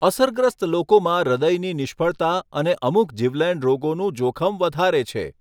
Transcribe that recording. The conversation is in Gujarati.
અસરગ્રસ્ત લોકોમાં હૃદયની નિષ્ફળતા અને અમુક જીવલેણ રોગોનું જોખમ વધારે છે.